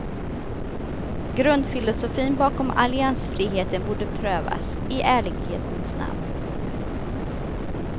Grundfilosofin bakom alliansfriheten borde prövas, i ärlighetens namn.